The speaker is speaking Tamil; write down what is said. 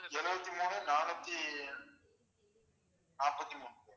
எழுபத்து மூணு நானூத்தி நாப்பத்தி மூணு